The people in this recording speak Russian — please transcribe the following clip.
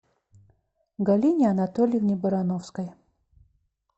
галине анатольевне барановской